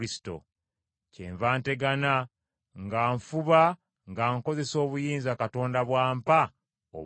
Kyenva ntegana nga nfuba nga nkozesa obuyinza Katonda bw’ampa obw’amaanyi.